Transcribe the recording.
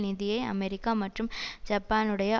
நிதியை அமெரிக்கா மற்றும் ஜப்பானுடைய